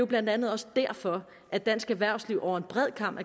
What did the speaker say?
blandt andet også derfor at dansk erhvervsliv over en bred kam